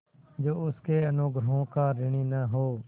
जो उसके अनुग्रहों का ऋणी न हो